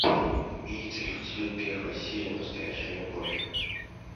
имеется ли у тебя первая серия настоящая любовь